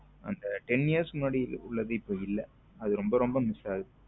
அந்த ten years முன்னாடி உள்ளது இப்போ இல்ல அது ரொம்ப ரொம்ப miss ஆகுது